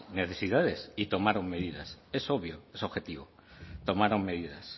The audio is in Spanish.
necesidades y tomaron medidas es obvio es objetivo tomaron medidas